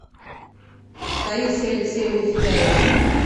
таисьи алексеевны федяевой